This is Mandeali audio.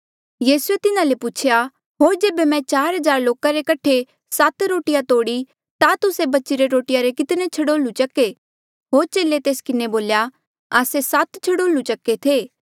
यीसूए तिन्हा ले पुछेया होर जेबे मैं चार हज़ार लोका रे कठे सात रोटिया तोड़ी ता तुस्से बचीरे रोटिया रे कितने छड़ोल्लू चक्के होर चेले तेस किन्हें बोल्या कि आस्से सात छड़ोल्लू चक्के थे